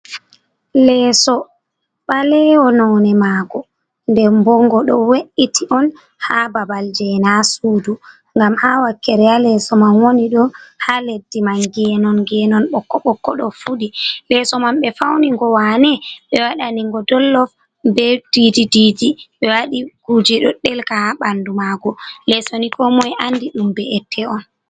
Leeso ɓalewol none mago, nde bo ngo ɗo we’iti on ha babal je na sudu, ngam ha wakere ha leso man woni ɗo ha leddi man genon genon ɓokko ɓokko ɗo fuɗi, leso man ɓe fauni ngo wane ɓe waɗa ni ngo dollof ɓe didi didi be waɗi kuje ɗo ɗelka ha ɓanɗu mago, leso ni ko moy andi ɗum be ette on.